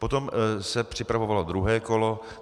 Potom se připravovalo druhé kolo.